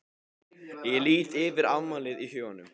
Ég lít yfir afmælið í huganum.